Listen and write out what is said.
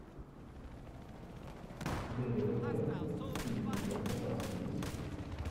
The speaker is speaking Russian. дэвида френкеля фильм у тебя в запасе есть